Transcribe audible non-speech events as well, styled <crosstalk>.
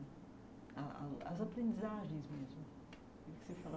A a as aprendizagens mesmo <unintelligible>